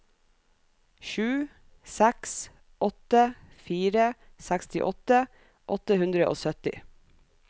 sju seks åtte fire sekstiåtte åtte hundre og sytti